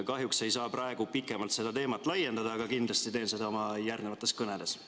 Kahjuks ei saa ma praegu pikemalt seda teemat laiendada, aga kindlasti teen seda oma järgnevates kõnedes.